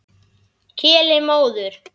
Keli móður.